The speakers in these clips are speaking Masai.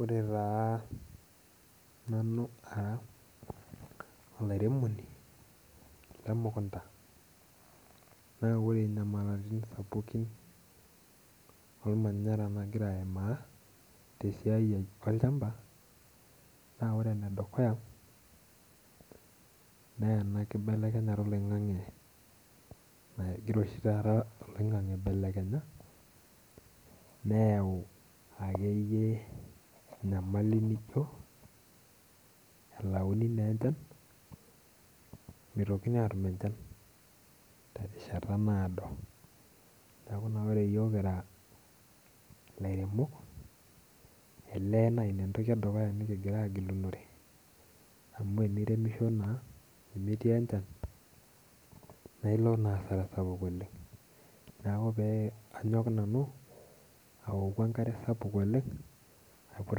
Ore taa nanu ara olairemoni lemukunta, na ore nyamalatin sapukin ormanyara nagira aimaa, tesiai ai olchamba, na ore enedukuya, nena kibelekenyata oloing'ang'e nagira oshi taata oloing'ang'e aibelekenya, neyau akeyie enyamali nijo elauni nenchan, mitokini atum enchan terishata nado. Neeku naa ore yiok kira ilairemok, elee neina entoki edukuya nikigira agilunore, amu eniremisho naa, nemetii enchan, nailo naa asara sapuk oleng. Neeku pe anyok nanu, aoku enkare sapuk oleng, aiput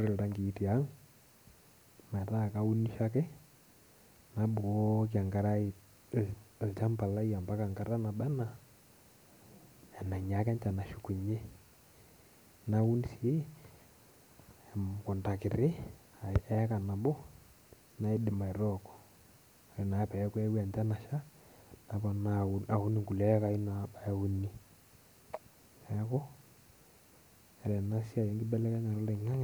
iltankii tiang', metaa kaunisho ake, nabukoki enkare ai ilchamba lai ampaka enkata naba enaa enainyaaka enchan ashukunye. Naun si, emukunda kiti, eeka nabo, naidim aitooko. Ore naa peku ewuo enchan asha, naponaa aun inkulie ekai nabaya uni. Neeku, ore enasiai enkibelekenyata oloing'ang'e,